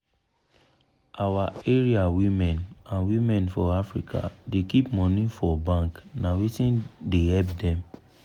our area women and women for africa da keep money for for bank na wetin da help dem